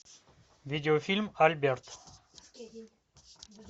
видеофильм альберт